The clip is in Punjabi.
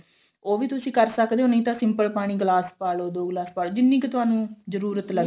ਉਹ ਵੀ ਤੁਸੀਂ ਕਰ ਸਕਦੇ ਓ ਨਹੀਂ ਤਾਂ simple ਪਾਣੀ ਗਿਲਾਸ ਪਾਲੋ ਦੋ ਗਿਲਾਸ ਪਾਲੋ ਜਿੰਨੀ ਕੁ ਤੁਹਾਨੂੰ ਜਰੂਰਤ ਲੱਗਦੀ